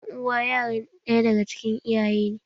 Ƴan uwa yaran ɗaya daga cikin iyaye ne